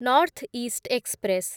north east express